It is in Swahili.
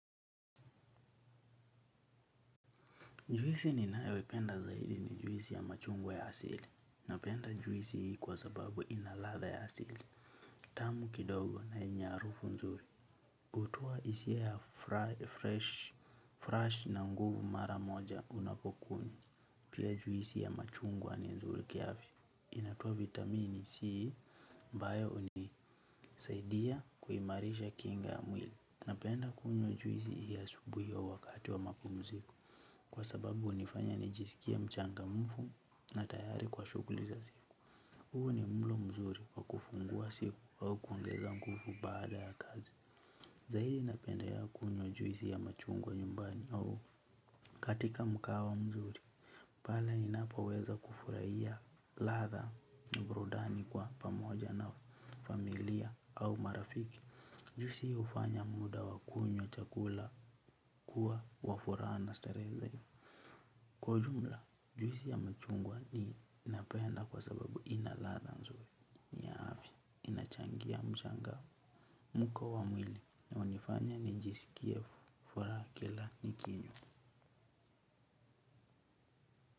Juisii ninayo ipenda zaidi ni juisi ya machungwa ya asili. Napenda juisi hii kwa sababu inaladha ya asili. Tamu kidogo na yenye harufu nzuri. Hutoa hisia fresh na nguvu mara moja unapokunywa. Pia juisi ya machungwa ni nzuri kiafya. Inatoa vitamini c ambayo hunisaidia kuimarisha kinga ya mwili. Napenda kunywa juisi hii asubuhi au wakati wa mapumziko. Kwa sababu hunifanya nijisikie mchangamfu na tayari kwa shughuli za siku. Huu ni mlo mzuri wa kufungua siku au kuongeza nguvu baada ya kazi. Zaidi napendelea kunywa juisi ya machungwa nyumbani au. Katika mkahawa mzuri, pale ninapoweza kufurahia ladha na burudani kwa pamoja na familia au marafiki. Juisi hii hufanya muda wa kunywa chakula kuwa wa furaha na starehe zaidi. Kwa ujumla, juisi ya machungwa ninapenda kwa sababu ina ladha nzuri, ni ya afya, inachangia mchangamko wa mwili na hunifanya nijisikie furaha kila nikinywa.